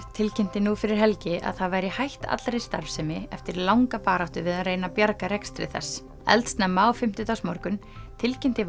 tilkynnti nú fyrir helgi að það væri hætt allri starfsemi eftir langa baráttu við að reyna að bjarga rekstri þess eldsnemma á fimmtudagsmorgun tilkynnti